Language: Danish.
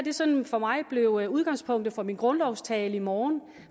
sådan for mig bliver udgangspunktet for min grundlovstale i morgen